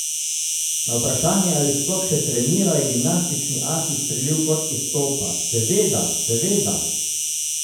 Na vprašanje, ali sploh še trenira, je gimnastični as izstrelil kot iz topa: 'Seveda, seveda!